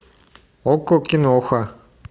окко киноха